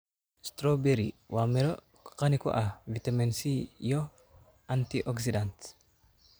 Strawberry: Waa midho qani ku ah fitamiin C iyo antioxidants.